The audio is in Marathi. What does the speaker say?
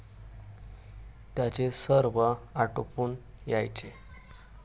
त्यांचे सर्व आटोपून यायचे.